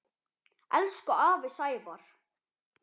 Elsku afi Sævar.